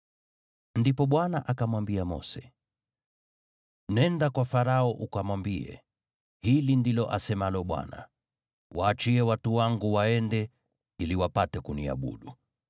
Ndipo Bwana akamwambia Mose, “Nenda kwa Farao ukamwambie, ‘Hili ndilo asemalo Bwana : Waachie watu wangu waende, ili wapate kuniabudu.